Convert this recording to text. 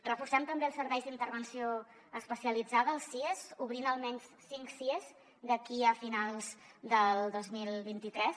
reforcem també els serveis d’intervenció especialitzada els sies obrint almenys cinc sies d’aquí a finals del dos mil vint tres